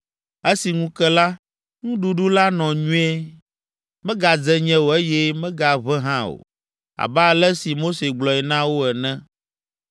Esi ŋu ke la, nuɖuɖu la nɔ nyuie: megadze nye o eye megaʋẽ hã o, abe ale si Mose gblɔe na wo ene.